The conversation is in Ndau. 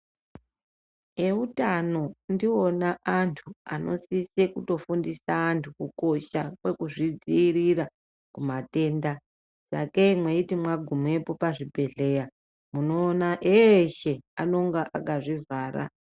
Veutano ndivona vantu vanofundise kukosha kwekuzvidzivirira kumatenda. Sakei maiti magumapo pazvibhedhleya munoona eshe anenge akazvivhara